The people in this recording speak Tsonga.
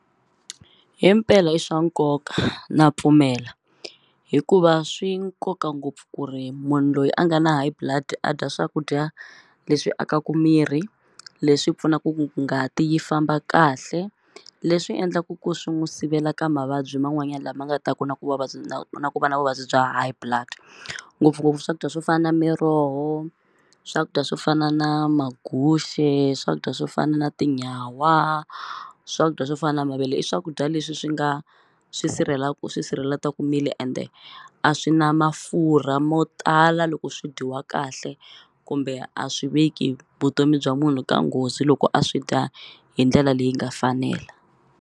Himpela i swa nkoka na pfumela hikuva swi nkoka ngopfu ku ri munhu loyi a nga na High Blood a dya swakudya leswi akaku miri leswi pfunaku ku ngati yi famba kahle leswi endlaku ku swi n'wu sivela ka mavabyi man'wanyani lama nga ta ku na ku na na ku va na vuvabyi bya High blood ngopfungopfu swakudya swo fana miroho swakudya swo fana na maguxe swakudya swo fana na tinyawa swakudya swo fana mavele i swakudya leswi swi nga swi sirheleku swi sirheletaku ende a swi na mafurha mo tala loko swi dyiwa kahle kumbe a swi veki vutomi bya munhu ka nghozi loko a swi dya hi ndlela leyi nga fanela.